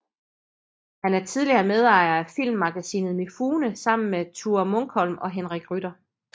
Han er tidligere medejer af Filmmagasinet Mifune sammen med Thure Munkholm og Henrik Rytter